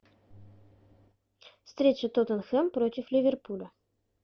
встреча тоттенхэм против ливерпуля